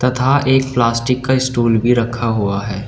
था एक प्लास्टिक का स्टूल भी रखा हुआ है।